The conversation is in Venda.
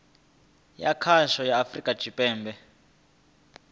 ya khasho ya afurika tshipembe